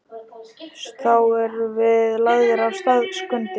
Þá erum við lagðir af stað, Skundi.